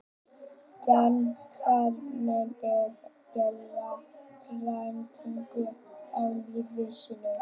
Bandaríkin gera breytingu á liði sínu